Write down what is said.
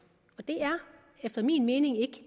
er efter min mening ikke